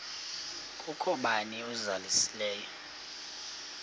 kukho bani uzalusileyo